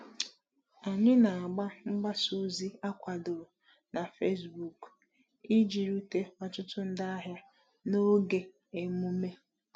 Anyị na-agba mgbasa ozi akwadoro na Facebook iji rute ọtụtụ ndị ahịa n’oge emume.